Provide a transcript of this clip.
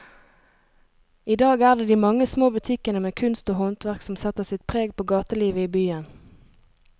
I dag er det de mange små butikkene med kunst og håndverk som setter sitt preg på gatelivet i byen.